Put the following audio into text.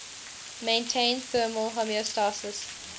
maintain thermal homeostasis